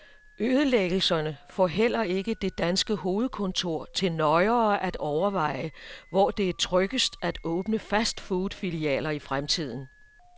Ødelæggelserne får heller ikke det danske hovedkontor til nøjere at overveje, hvor det er tryggest at åbne fastfoodfilialer i fremtiden.